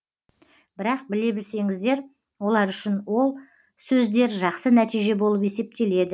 бірақ біле білсеңіздер олар үшін ол сөздер жақсы нәтиже болып есептеледі